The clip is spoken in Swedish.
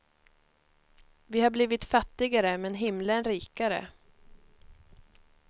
Vi har blivit fattigare men himlen rikare.